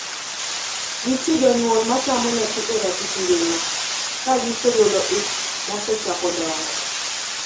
Nitie jonyuol ma tamo nyathi e ratich ngima ka gigolo ich mosechako dongo.